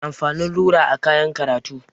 Menene amfanin rula a kayan karatu?